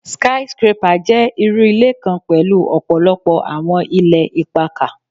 Sky scrapper jẹ iru ile kan pẹlu ọpọlọpọ awọn ilẹ ipakà